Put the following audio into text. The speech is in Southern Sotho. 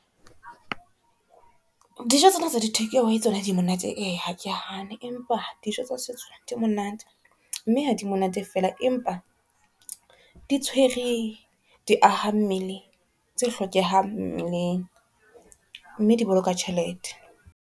Dijo tsena tsa di-takeaway tsona di monate e, ha ke hane empa dijo tsa setso di monate, mme ha di monate fela, empa di tshwere di aha mmele tse hlokehang mmeleng mme di boloka tjhelete.